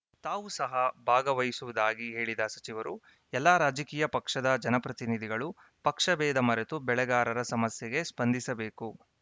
ತಾವು ಸಹ ಭಾಗವಹಿಸುವುದಾಗಿ ಹೇಳಿದ ಸಚಿವರು ಎಲ್ಲಾ ರಾಜಕೀಯ ಪಕ್ಷದ ಜನಪ್ರತಿನಿಧಿಗಳು ಪಕ್ಷಬೇಧ ಮರೆತು ಬೆಳೆಗಾರರ ಸಮಸ್ಯೆಗೆ ಸ್ಪಂದಿಸಬೇಕು